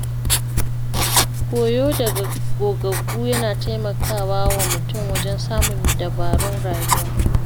Koyo daga gogaggu yana taimaka wa mutum wajen samun dabarun rayuwa.